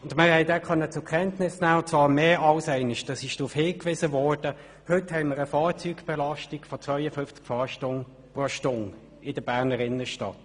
Wir konnten mehr als einmal den Hinweis zur Kenntnis nehmen, dass wir heute in der Berner Innenstadt eine Fahrzeugbelastung von 52 Fahrzeugen pro Stunde haben.